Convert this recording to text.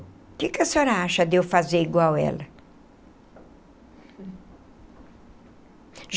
O que que a senhora acha de eu fazer igual a ela?